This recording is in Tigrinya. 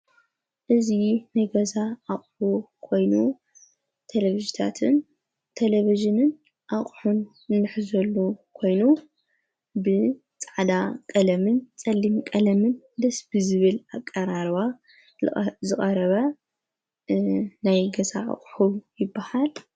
እዙይ ነገዛ ኣቅሑ ኮይኑ ተለብሽታትን ተለቢዝንን ኣቕሑን እንሕ ዘሉ ኮይኑ ብፃዕዳ ቐለምን ጸሊም ቀለምን ደስቢ ዝብል ኣቃራርዋ ዝቓረባ ናይ ገዛ ኣቕሑ ይብሃል።